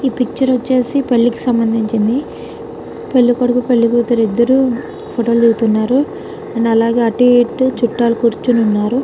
ఈ పిక్చర్ వచ్చేసి పెళ్లికి సంబంధించింది పెళ్ళికొడుకు పెళ్ళికూతురు ఇద్దరూ ఫోటోలు దిగుతున్నారు నల్లగా అటు ఇటు చుట్టాలు కూర్చుని ఉన్నారు